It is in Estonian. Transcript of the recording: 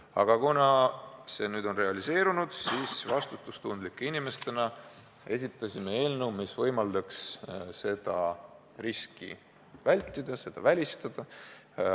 Aga kuna see nüüd on realiseerunud, siis vastutustundlike inimestena esitasime eelnõu, mis võimaldaks seda riski vältida, selle välistada.